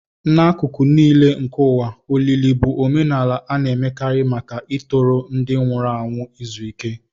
N'akụkụ nile nke ụwa, olili bụ omenala a na-emekarị maka ịtọrọ ndị nwụrụ anwụ izu ike.